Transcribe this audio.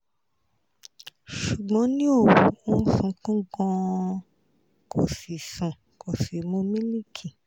ṣùgbọ́n ní òru ó sunkún gan-an kò sì sùn kò sì mu milk